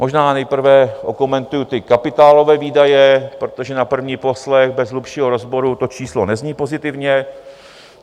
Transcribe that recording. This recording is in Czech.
Možná nejprve okomentuji ty kapitálové výdaje, protože na první poslech bez hlubšího rozboru to číslo nezní pozitivně.